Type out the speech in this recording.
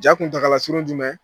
Ja kuntagalala surun jumɛn?